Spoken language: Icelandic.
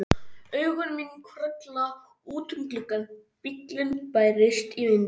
Augu mín hvarfla út um gluggann, bíllinn bærist í vindinum.